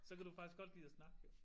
Så kan du faktisk godt lide at snakke jo